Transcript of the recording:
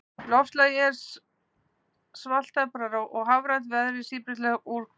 Loftslagið er svaltemprað og hafrænt, veðrið síbreytilegt og úrkomusamt.